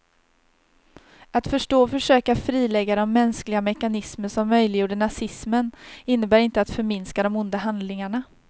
Att förstå och försöka frilägga de mänskliga mekanismer som möjliggjorde nazismen innebär inte att förminska de onda handlingarna.